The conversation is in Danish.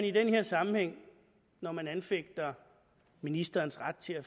i den her sammenhæng når man anfægter ministerens ret til at